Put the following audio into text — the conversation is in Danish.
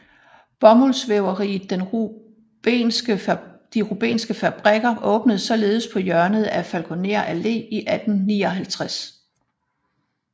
Bomuldsvæveriet De Rubenske Fabrikker åbnede således på hjørnet af Falkoner Allé i 1859